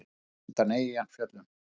Venus undan Eyjafjöllum.